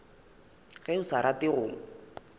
ge o sa rate go